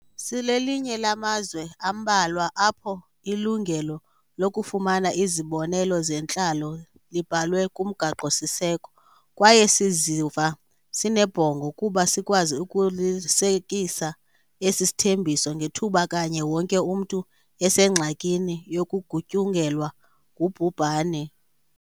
Silelinye lamazwe ambalwa apho ilungelo lokufumana izibonelo zentlalo libhalwe kuMgaqo-siseko, kwaye siziva sinebhongo kuba sikwazi ukulisekisa esi sithembiso ngethuba kanye wonke umntu esengxakini yokugutyungelwa ngubhubhane.